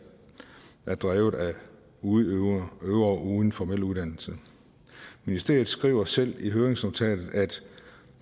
er drevet af udøvere uden formel uddannelse ministeriet skriver selv i høringsnotatet at